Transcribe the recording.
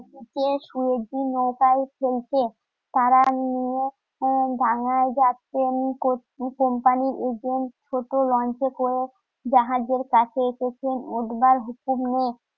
নিয়ে বাংলায় যাচ্ছেন কোম্পানির এজেন্ট ছোট লঞ্চে করে জাহাজের কাছে এসেছেন ওঠবার